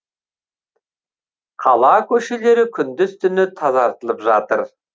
қала көшелері күндіз түні тазартылып жатыр